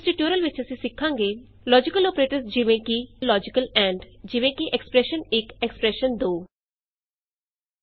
ਇਸ ਟਯੂਟੋਰੀਅਲ ਵਿਚ ਅਸੀਂ ਸਿਖਾਂਗੇ ਲੋਜੀਕਲ ਅੋਪਰੇਟਰਸ ਜਿਵੇਂ ਕਿ ਅਤੇ ਲੋਜੀਕਲ ਐਂਡ ਜਿਵੇਂ ਕਿ expression one expression two logical operators like logical and easy